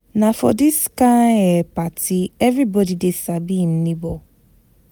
Na for dis kain um party everybodi dey sabi im nebo.